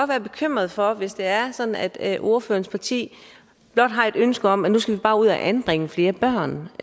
være bekymret for hvis det er sådan at ordførerens parti blot har et ønske om at nu skal ud og anbringe flere børn